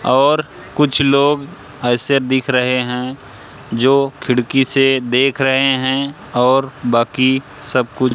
और कुछ लोग ऐसे दिख रहे हैं जो खिड़की से देख रहे हैं और बाकी सब कुछ--